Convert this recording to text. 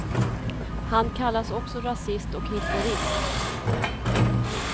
Han kallas också rasist och hitlerist.